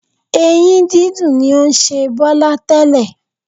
Ẹ̀yìn dídùn ni ó ń ṣe Bọ́lá tẹ́lẹ̀